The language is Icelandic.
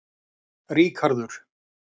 Ríkharður